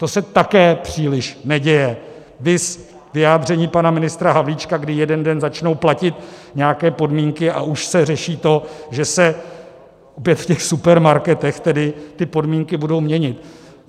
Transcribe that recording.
To se také příliš neděje, viz vyjádření pana ministra Havlíčka, kdy jeden den začnou platit nějaké podmínky, a už se řeší to, že se opět v těch supermarketech tedy ty podmínky budou měnit.